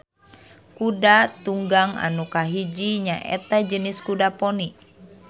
Kuda tunggang anu kahiji nyaeta jenis kuda poni.